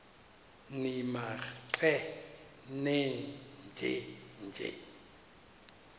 nimaqe nenje nje